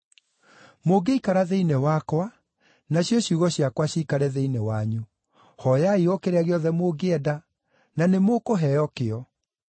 Mũngĩikara thĩinĩ wakwa, nacio ciugo ciakwa ciikare thĩinĩ wanyu, hooyai o kĩrĩa gĩothe mũngĩenda, na nĩmũkũheo kĩo.